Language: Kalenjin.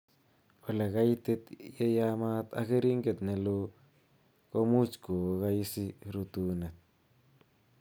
Ole kaitit, ye yaamat ak keringet nelo komuch kookaisi rutunet